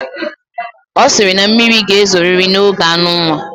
O siri na mmiri ga ezoriri na oge anunwa